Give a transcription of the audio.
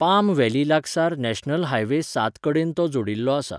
Palm Valley लागसार national highway सात कडेन तो जोडिल्लो आसा.